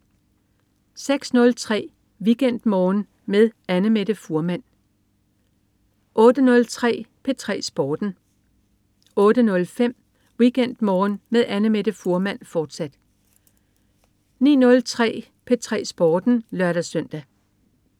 06.03 WeekendMorgen med Annamette Fuhrmann 08.03 P3 Sporten 08.05 WeekendMorgen med Annamette Fuhrmann, fortsat 09.03 P3 Sporten (lør-søn)